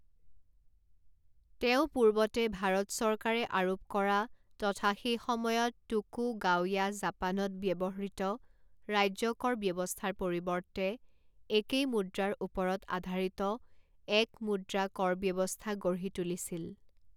তেওঁ পূৰ্বতে ভাৰত চৰকাৰে আৰোপ কৰা তথা সেই সময়ত টোকুগাওয়া জাপানত ব্যৱহৃত ৰাজ্যকৰ ব্যৱস্থাৰ পৰিৱৰ্তে একেই মুদ্ৰাৰ ওপৰত আধাৰিত এক মুদ্ৰা কৰ ব্যৱস্থা গঢ়ি তুলিছিল।